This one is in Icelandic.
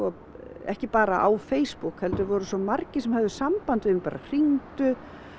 ekki bara á Facebook heldur voru svo margir bara sem höfðu samband við mig bara hringdu